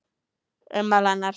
Ummál hennar